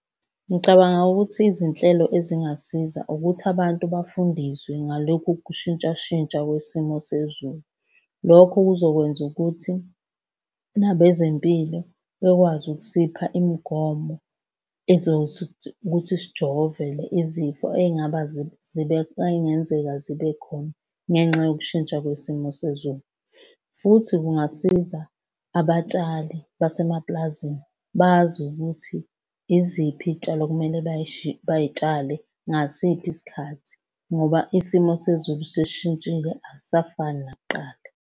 Ngicabanga ukuthi izinhlelo ezingasiza ukuthi abantu bafundiswe ngalokhu ukushintshashintsha kwesimo sezulu. Lokho kuzokwenza ukuthi nabezempilo bekwazi ukusipha imigomo ezothi ukuthi sijovele izifo ey'ngaba ey'ngenzeka zibe khona ngenxa yokushintsha kwesimo sezulu, futhi kungasiza abatshali basemapulazini bazi ukuthi yiziphi iy'tshalo okumele bay'tshale ngasiphi isikhathi ngoba isimo sezulu sesishintshile, akusafani nakuqala.